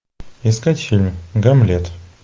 искать фильм гамлет